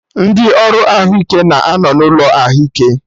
Ndị ọrụ ahụike na anọ n'ụlọ ahụike